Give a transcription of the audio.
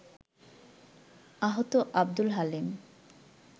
আহত আব্দুল হালিম